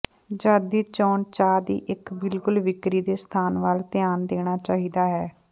ਜਦ ਦੀ ਚੋਣ ਚਾਹ ਦਾ ਇੱਕ ਬਿਲਕੁਲ ਵਿਕਰੀ ਦੇ ਸਥਾਨ ਵੱਲ ਧਿਆਨ ਦੇਣਾ ਚਾਹੀਦਾ ਹੈ